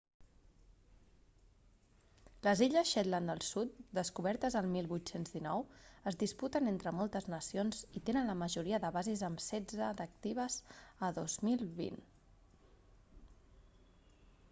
les illes shetland del sud descobertes el 1819 es disputen entre moltes nacions i tenen la majoria de bases amb setze d'actives a 2020